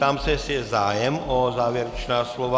Ptám se, jestli je zájem o závěrečná slova.